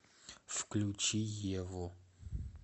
включи еву